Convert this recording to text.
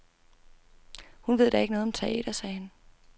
Hun ved da ikke noget om teater, sagde han.